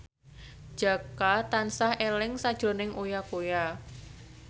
Jaka tansah eling sakjroning Uya Kuya